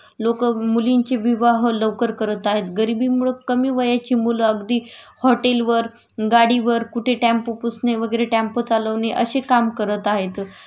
लोकं मुलींची विवाह लवकर करत आहेत.गरिबीमुळं कमी वयाची मुलं अगदी हॉटेलवर गाडीवर कुठे टॅम्पो पुसाबे वगैरे, टॅम्पो चालवणे अशे काम करत आहेत